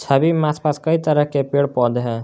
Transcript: छवि में आसपास कई तरह के पेड़ पौधे हैं।